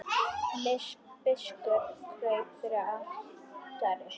Biskup kraup fyrir altari.